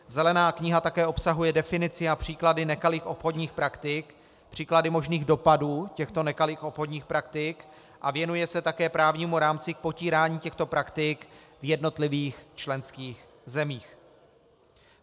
Zelená kniha také obsahuje definici a příklady nekalých obchodních praktik, příklady možných dopadů těchto nekalých obchodních praktik a věnuje se také právnímu rámci k potírání těchto praktik v jednotlivých členských zemích.